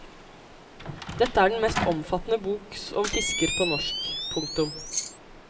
Dette er den mest omfattende bok om fisker på norsk. punktum